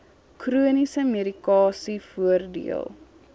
chroniese medikasie voordeel